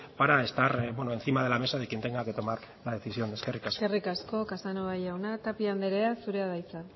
para estar encima de la mesa de quien tenga que tomar la decisión eskerrik asko eskerrik asko casanova jauna tapia andrea zurea da hitza